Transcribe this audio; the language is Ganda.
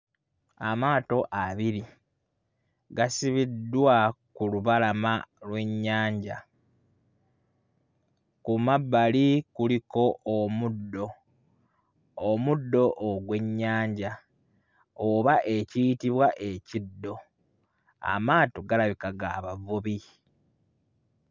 Amaato abiri gasibiddwa ku lubalama lw'ennyanja, ku mabbali kuliko omuddo, omuddo ogw'ennyanja oba ekiyitibwa ekiddo, amaato galabika ga bavubi.